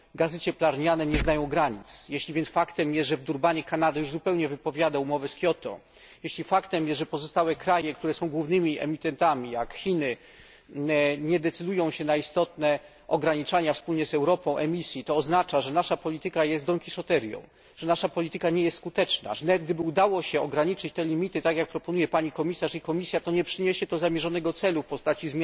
Gazy cieplarniane nie znają granic, jeśli więc faktem jest, że w Durbanie Kanada już zupełnie wypowiada umowę z Kioto, jeśli faktem jest, że pozostałe kraje, które są głównymi emitentami, jak Chiny, nie decydują się na istotne ograniczenia emisji wspólnie z Europą, to oznacza, że nasza polityka jest donkiszoterią, że nasza polityka nie jest skuteczna, że nawet gdyby udało się ograniczyć te limity, tak jak proponuje pani komisarz i Komisja, to nie przyniesie to zamierzonego celu w postaci